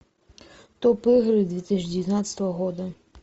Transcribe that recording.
топ игры две тысячи девятнадцатого года